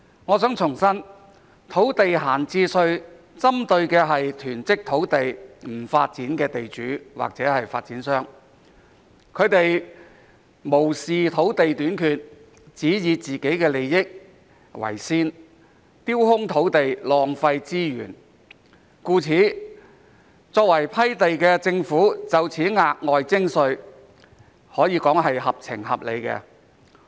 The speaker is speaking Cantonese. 我想重申，土地閒置稅針對的是囤積土地不發展的地主或發展商，他們無視土地短缺，只以自己的利益為先，丟空土地，浪費資源，故此作為批地的政府就此額外徵稅，可說是合情合理。